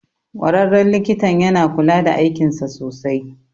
Ƙwararren likitan yana kula da aikinsa sosai